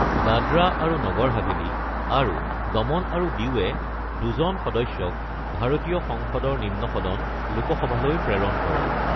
দাদৰা আৰু নগৰ হাভেলি আৰু দমন আৰু দিউৱে দুজন সদস্যক ভাৰতীয় সংসদৰ নিম্ন সদন লোকসভালৈ প্ৰেৰণ কৰে।